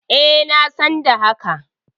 E, na san da haka.